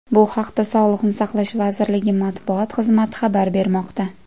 Bu haqda Sog‘liqni saqlash vazirligi matbuot xizmati xabar bermoqda .